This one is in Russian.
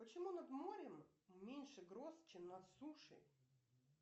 почему над морем меньше гроз чем над сушей